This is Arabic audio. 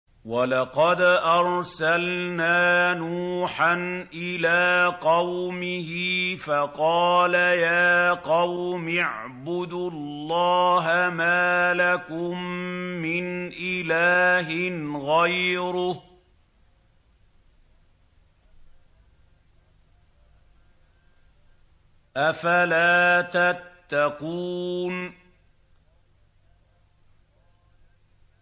وَلَقَدْ أَرْسَلْنَا نُوحًا إِلَىٰ قَوْمِهِ فَقَالَ يَا قَوْمِ اعْبُدُوا اللَّهَ مَا لَكُم مِّنْ إِلَٰهٍ غَيْرُهُ ۖ أَفَلَا تَتَّقُونَ